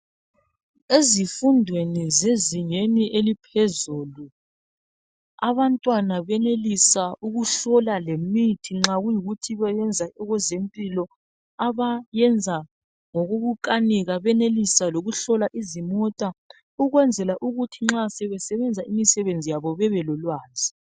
Ezifundweni zezingeni eliphezulu ,abantwana bayenelisa ukuhlola lemithi nxa kuyikuthi bayenza okwezempilo abayenza ngokokukanika bayenelisa ukuhlola izimota ukwenzela ukuthi nxa sebesenza imisebenzi yabo bebe lolwazi.